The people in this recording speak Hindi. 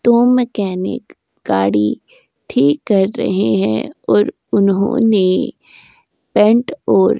दो मैकेनिक गाड़ी ठीक कर रहे हैं और उन्होंने पेंट और --